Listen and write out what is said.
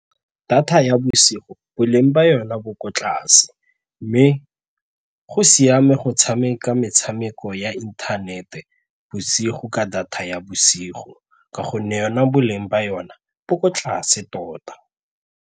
Data ya bosigo boleng jwa yona bo ko tlase mme go siame go tshameka metshameko ya inthanete bosigo ka data ya bosigo ka gonne yona boleng ba yona bo ko tlase tota.